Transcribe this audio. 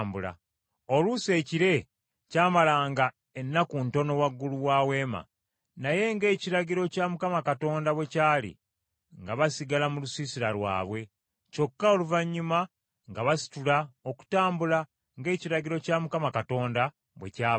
Oluusi ekire kyamalanga ennaku ntono waggulu wa Weema; naye ng’ekiragiro kya Mukama Katonda bwe kyali, nga basigala mu lusiisira lwabwe; kyokka oluvannyuma nga basitula okutambula ng’ekiragiro kya Mukama Katonda bwe kyabanga.